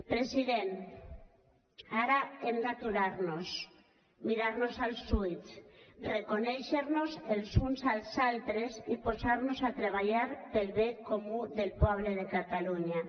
president ara hem d’aturar nos mirar nos als ulls reconèixer nos els uns als altres i posar nos a treballar per al bé comú del poble de catalunya